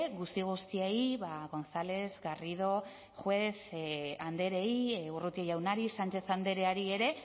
guzti guztiei ba gonzález garrido juez andrei urrutia jaunari sánchez andreari ere